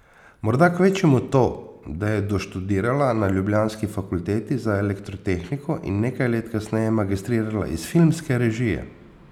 Morda kvečjemu to, da je doštudirala na ljubljanski Fakulteti za elektrotehniko in nekaj let kasneje magistrirala iz filmske režije.